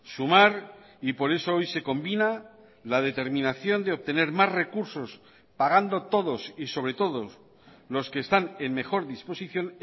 sumar y por eso hoy se combina la determinación de obtener más recursos pagando todos y sobre todo los que están en mejor disposición